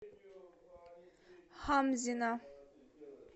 хамзина